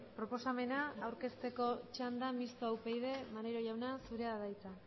proposamena aurkezteko txanda mistoa upyd maneiro jauna zurea da hitza